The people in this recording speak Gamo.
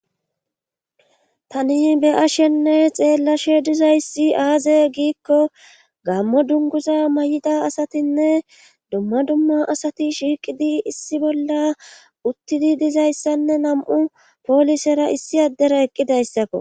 Tani be ashenne xeellashe dizayssi aaze giikko gammo dunguza may7ida asatinne dumma dumma asati shiiqidi issi bolla uttidi dizayssanne nam7u poolisera issi addera eqqidayssakko